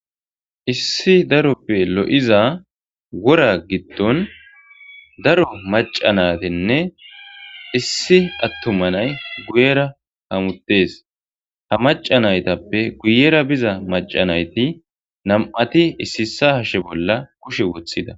Issi daro loiza wora gidon daro maca nayitinne issi atuma nayi guyera hamutes ha maca nayituppe guyera beza maca nayiti nam'ati issi issa hashe bola kushe wotida.